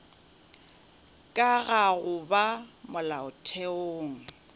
ka ga go ba molaotheong